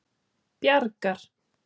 Bjargar